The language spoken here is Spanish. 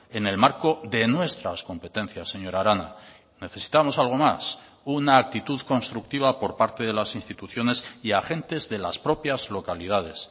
en el marco de nuestras competencias señora arana necesitamos algo más una actitud constructiva por parte de las instituciones y agentes de las propias localidades